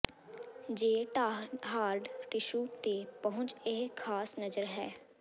ਜੇ ਢਾਹ hard tissue ਤੇ ਪਹੁੰਚ ਇਹ ਖਾਸ ਨਜ਼ਰ ਹੈ